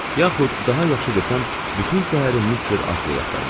Yaxud daha yaxşı desəm, bütün səhərim Mister Asleyi axtarmışdım.